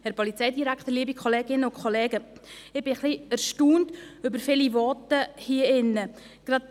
Ich bin ein wenig erstaunt über viele Voten hier im Grossen Rat.